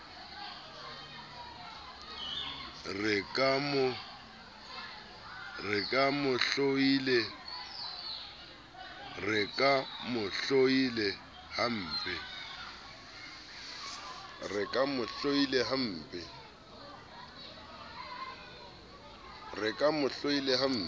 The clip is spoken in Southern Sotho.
re ke mo hloile hampe